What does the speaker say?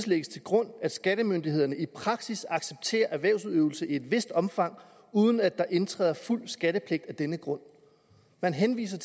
lægges til grund at skattemyndighederne i praksis accepterer erhvervsudøvelse i et vist omfang uden at der indtræder fuld skattepligt af denne grund man henviser